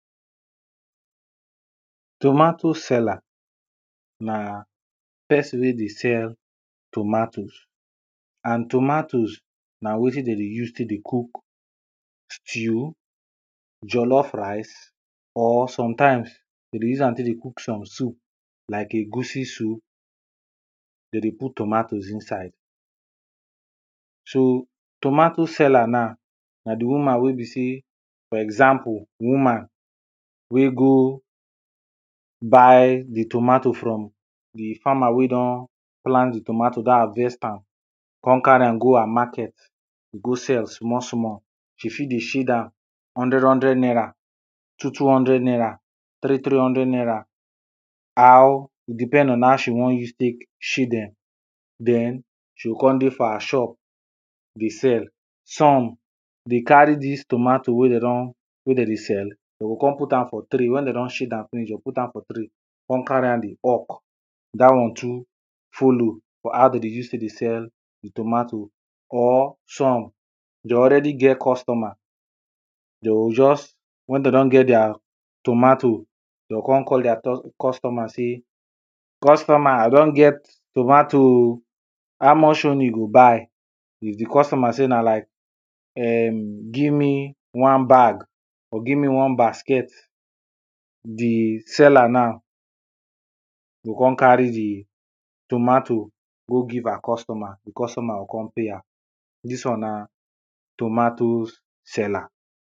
Tomatoes seller na person wey dey sell tomatoes and tomatoes na wetin de dey use tek dey cook stew, jollof rice or sometimes de dey use am cook some soup like egusi soup de dey put tomatoes inside. So tomato seller now, na di woman wey be sey for example woman wey go buy di tomatoes from farmer wey don plant di tomatoes, don harvest am, come carry am ho her market go sell small small. She fit dey shade am hundred hundred naira, two two hundred naira, three three hundred naira how, e depend on how she wan use tek shade dem, den she go come dey for her shop dey sell. Some dey carry dis tomatoes wey dey don, wey de dey sell dey go come put am for tray when dey don shade am finish, dey go put am for tray come carry am dey hawk dat one too follow for how de dey use tek dey sell tomatoes or some dere already get customer dey o just, when dey don get deir tomatoes dey o come call deir customer sey customer I don get tomatoes o how much own you go buy, If di customer say na like um give me one bag or give me one basket di seller now go come carry di tomato go give her customer and di customer go come pay her. Dis one na tomatoes seller.